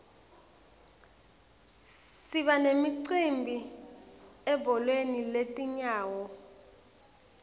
siba nemicimbi ebholeni letinyawo